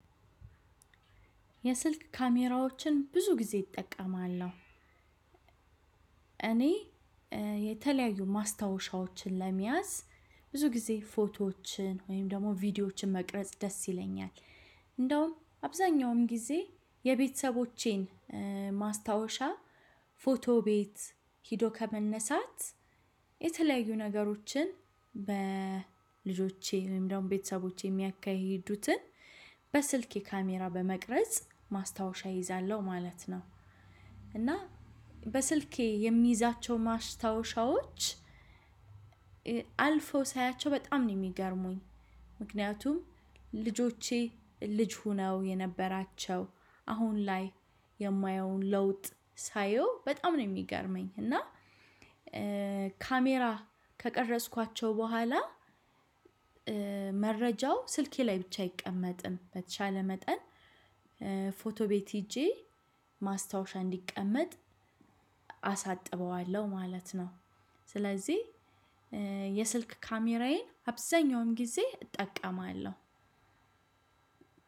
የስልክ ካሜራዎችን ብዙ ጊዜ እጠቀማው። እኔ የተለያዩ ማስታወሻዎችን ለመያዝ ብዙ ጊዜ ፎቶዎችን ወይም ደግሞ ቪዲዮዎችን መቅረጽ ደስ ይለኛል። እንደውም አብዛኛውን ጊዜ የቤተሰቦቼን ማስታወሻ ፎቶ ቤት ሄዶ ከመነሳት የተለያዩ ነገሮችን በልጆቼ ወይም ደግሞ ቤተሰቦቼ የሚያካሂዱትን በስልኬ ካሜራ በመቅረጽ ማስታወሻ እይዛለሁ ማለት ነው። እና በስልኬ የሚይዛቸው ማስታወሻዎች አልፈው ሳያቸው በጣም ነው የሚገርሙኝ። ምክንያቱም ልጆቼ ልጅ ሆነው የነበራቸው አሁን ላይ የማየውን ለውጥ ሳየው በጣም ነው የሚገርመኝ። እና ካሜራ ከቀረጽኳቸው በኋላ መረጃው ስልኬ ላይ ብቻ አይቀመጥም በተቻለ መጠን ፎቶ ቤት ሄጄ ማስታወሻ እንዲቀመጥ አሳጥበዋለሁ ማለት ነው። ስለዚህ የስልክ ካሜራዬን አብዛኛውን ጊዜ እጠቀማለሁ።